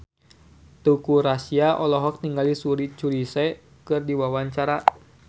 Teuku Rassya olohok ningali Suri Cruise keur diwawancara